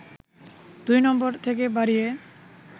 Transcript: ২ নম্বর থেকে বাড়িয়ে